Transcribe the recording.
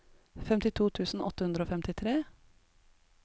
femtito tusen åtte hundre og femtitre